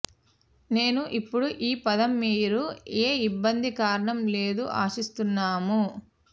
నేను ఇప్పుడు ఈ పదం మీరు ఏ ఇబ్బంది కారణం లేదు ఆశిస్తున్నాము